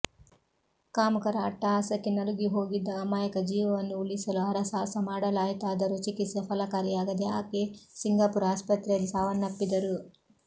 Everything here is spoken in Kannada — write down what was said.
ಕಾಮುಕರ ಅಟ್ಟಹಾಸಕ್ಕೆ ನಲುಗಿಹೋಗಿದ್ದ ಅಮಾಯಕ ಜೀವವನ್ನು ಉಳಿಸಲು ಹರಸಾಹಸ ಮಾಡಲಾಯಿತಾದರೂ ಚಿಕಿತ್ಸೆ ಫಲಕಾರಿಯಾಗದೆ ಆಕೆ ಸಿಂಗಾಪುರ್ ಆಸ್ಪತ್ರೆಯಲ್ಲಿ ಸಾವನ್ನಪ್ಪಿದ್ದರು